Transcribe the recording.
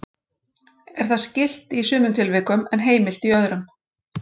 Er það skylt í sumum tilvikum en heimilt í öðrum.